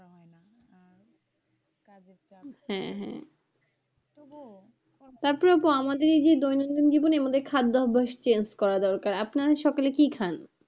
হ্যাঁ হ্যাঁ তবুও , তারপরে আপু আমাদের যে দৈনন্দিন জীবনে আমাদের খাদ্য অভ্যাস change করা দরকার, আপনারা সকলে কি খান?